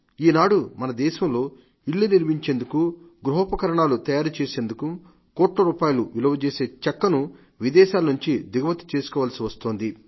ఈనాడు మన దేశంలో ఇళ్లు నిర్మించేందుకు గృహపకరణాలు తయారు చేసేందుకు కోట్ల రూపాయల విలువజేసే చెక్కను విదేశాల నుండి దిగుమతి చేసుకోవలసి వస్తోంది